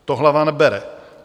To hlava nebere.